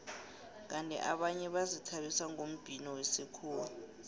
kandi abanye bazithabisa ngombhino wesikhuwa